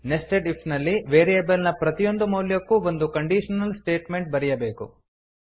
nested if ನಲ್ಲಿ variable ನ ಪ್ರತಿಯೊಂದು ಮೌಲ್ಯಕ್ಕೂ ಒಂದು ಕಂಡೀಶನಲ್ ಸ್ಟೇಟ್ಮೆಂಟ್ ಬರೆಯಬೇಕು